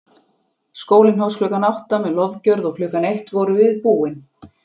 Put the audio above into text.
Skólinn hófst klukkan átta með lofgjörð og klukkan eitt vorum við búin.